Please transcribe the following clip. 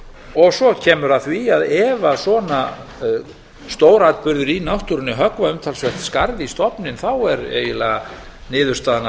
og svo kemur að því að ef svona stóratburðir í náttúrunni höggva umtalsvert skarð í stofninn þá er eiginlega niðurstaðan